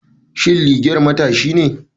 Shin liger matashi ne?